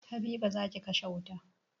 Habiba, za ki kashe wuta